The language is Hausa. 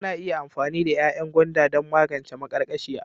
Ana iya amfani da ganyen gwanda don magance maƙarƙashiya.